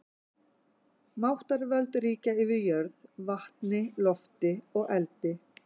Máttarvöld ríkja yfir jörð, vatni, lofti og eldi.